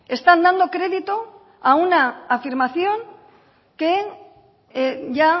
están dando crédito a una afirmación que ya